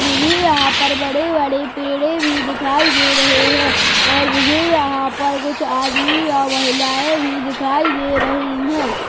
मुझे यहाँ बड़े बड़े पेड़े भी दिखाई दे रहे हैं और मुझे यहाँ पर कुछ आदमी और महिलायें भी दिखाई दे रही हैं।